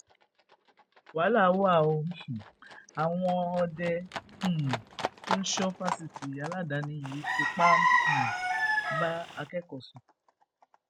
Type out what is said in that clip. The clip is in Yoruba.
wàhálà wà o àwọn ọdẹ um tó ń sọ fásitì aládàáni yìí fipá um bá akẹkọọ sùn